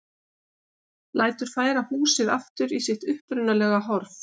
Lætur færa húsið aftur í sitt upprunalega horf.